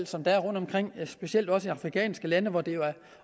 som der er rundtomkring specielt i de afrikanske lande hvor det jo